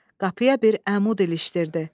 Qapıya bir əmud ilişdirdi.